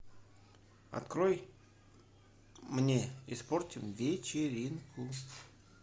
открой мне испортим вечеринку